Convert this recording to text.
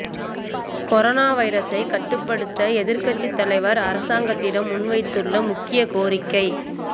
corona வைரஸை கட்டுப்படுத்த எதிர்க்கட்சி தலைவர் அரசாங்கத்திடம் முன்வைத்துள்ள முக்கிய கோரிக்கை